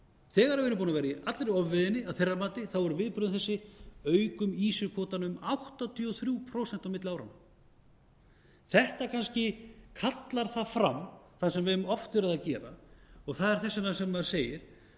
þegar við erum búin að vera í allri ofveiðinni að þeirra mati eru viðbrögðin þessi aukum ýsukvótann um áttatíu og þrjú prósent á milli áranna þetta kannski kallar það fram sem við höfum oft verið að gera og það er þess vegna sem maður segir